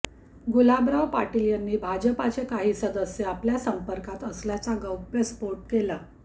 गुलाबराव पाटील यांनी भाजपचे काही सदस्य आपल्या संपर्कात असल्याचा गौप्यस्फोट केला